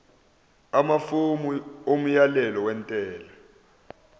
amafomu omyalelo wentela